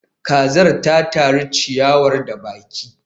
kazar ta tari ciyawar da baki